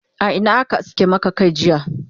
a Ina aka aske Maka Kai jiya?